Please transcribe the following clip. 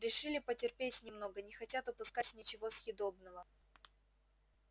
решили потерпеть немного не хотят упускать ничего съедобного